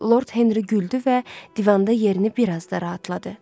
Lord Henri güldü və divanda yerini bir az da rahatladı.